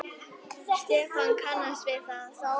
Stefán kannast við það.